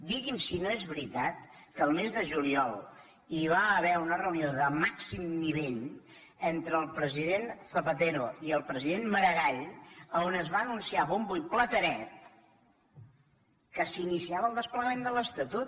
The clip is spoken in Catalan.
digui’m si no és veritat que el mes de juliol hi va haver una reunió de màxim nivell entre el president zapatero i el president maragall on es va anunciar a bombo i platerets que s’iniciava el desplegament de l’estatut